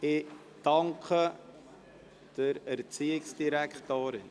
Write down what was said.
Ich bedanke mich bei der Erziehungsdirektorin.